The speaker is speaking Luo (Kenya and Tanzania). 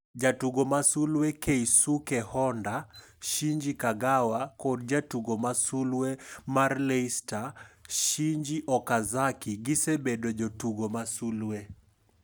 Jatugo masulwe: Keisuke Honda, Shinji Kagawa kod jatugo ma sulwe mar Leicester, Shinji Okazaki gi sebedo jotugo ma sulwe.